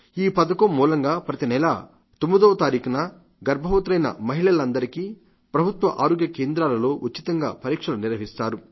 ఈ పథకం మూలంగా ప్రతినెలా 9వ తారీఖున గర్భవతులైన మహిళలందరికీ ప్రభుత్వ ఆరోగ్య కేంద్రాలలో ఉచితంగా పరీక్షలు నిర్వహిస్తారు